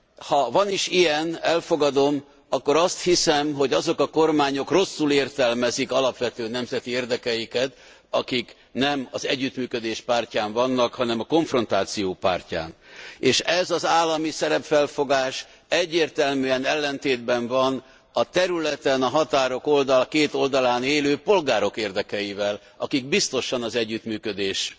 Ha van is ilyen, elfogadom, akkor azt hiszem, hogy azok a kormányok rosszul értelmezik alapvető nemzeti érdekeiket, akik nem az együttműködés pártján vannak, hanem a konfrontáció pártján, és ez az állami szerepfelfogás egyértelműen ellentétben van a területen a határok két oldalán élő polgárok érdekeivel, akik biztosan az együttműködés